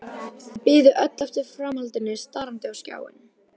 Þau biðu öll eftir framhaldinu starandi á skjáinn.